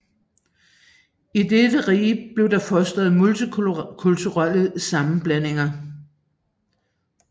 I dette rige blev der fostret multikulturelle sammenblandinger